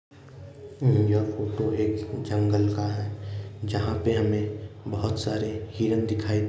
न् यह फोटो एक जंगल का है। जहां पर हमें बोहोत सारे हिरन दिखाई --